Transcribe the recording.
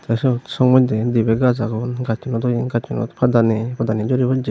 tey syot song moddey dibey gaj agon gassunodo hi gassunot pada nei padani juri possey.